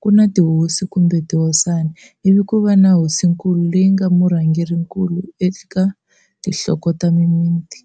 ku na tihosi, kumbe tihosana, ivi ku va na hosinkulu leyi yi nga murhangerinkulu eka tinhloko ta mimiti.